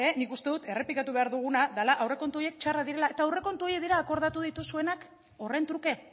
nik uste dut errepikatu behar duguna dela aurrekontu horiek txarrak direla eta aurrekontu horiek dira akordatu dituzuenak horren truke